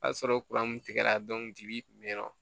O y'a sɔrɔ tigɛra ji bi kun be yen nɔ